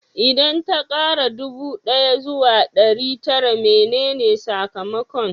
Idan ta kara ɗubu ɗaya zuwa ɗari tara menene sakamakon?